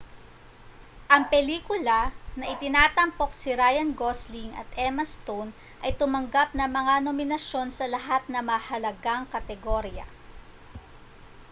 ang pelikula na itinatampok si ryan gosling at emma stone ay tumanggap ng mga nominasyon sa lahat ng mahalagang kategorya